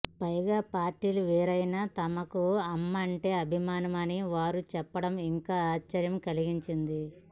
పైగా పార్టీలు వేరైనా తమకూ అమ్మంటే అభిమానమని వారు చెప్పడం ఇంకా ఆశ్చర్యం కలిగించింది